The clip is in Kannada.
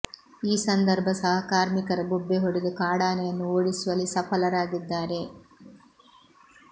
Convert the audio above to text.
ಈ ಸಂದರ್ಭ ಸಹ ಕಾರ್ಮಿಕರು ಬೊಬ್ಬೆ ಹೊಡೆದು ಕಾಡಾನೆಯನ್ನು ಓಡಿಸುವಲ್ಲಿ ಸಫಲರಾಗಿದ್ದಾರೆ